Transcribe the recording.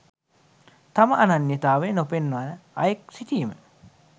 තම අනන්‍යතාවය නොපෙන්වන අයෙක් සිටීම